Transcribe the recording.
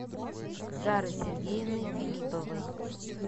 зары сергеевны филипповой